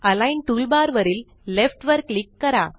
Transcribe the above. align toolbar वरील left वर click करा